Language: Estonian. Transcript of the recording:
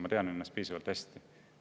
Ma tean ennast piisavalt hästi.